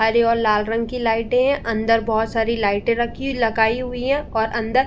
हरे और लाल रंग की लाइटे अन्दर बोहोत सारी लाइटे रखी लगाई हुई हैं और अन्दर --